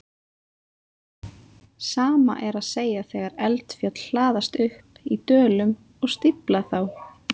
Sama er að segja þegar eldfjöll hlaðast upp í dölum og stífla þá.